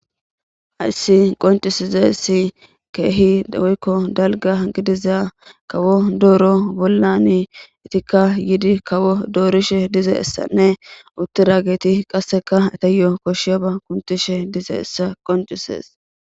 hayssi qoncisizessi keehi dawikko dalga gidiza kawo dooro bollani itikka yidi kawo doorishe dize essanne utti raageti qasseka etayo koshshiya ba kuntishe dize essa qoncisees